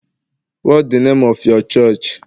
what the name of your church?